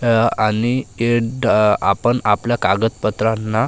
या आणि आपण आपल्या कागदपत्रांना--